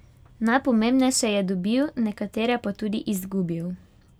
Najpomembnejše je dobil, nekatere pa tudi izgubil.